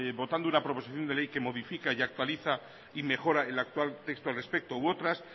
votando una proposición de ley que modifica y actualiza y mejora el actual texto al respecto u otras